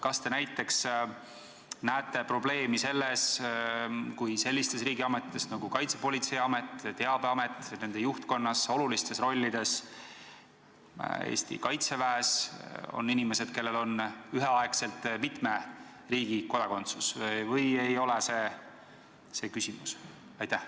Kas te näiteks näete probleemi, kui sellistes riigiametites nagu Kaitsepolitseiamet, Teabeamet, nende juhtkonnas, olulistes rollides Eesti Kaitseväes on inimesed, kellel on üheaegselt mitme riigi kodakondsus, või ei ole see küsimus?